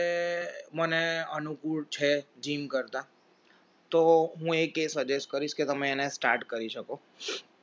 મને અનુકૂળ છે gym કરતા તો હું એક એ suggest કરીશ કે તમે એને start કરી શકો